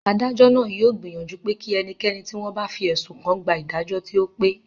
Adájọ́ náà yóò gbìyànjú pé kí ẹnikẹ́ni tí wọ́n bá fi ẹ̀sùn kàn gba ìdájọ́ tí ó pé